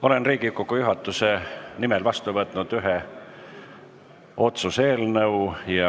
Olen Riigikogu juhatuse nimel vastu võtnud ühe otsuse eelnõu.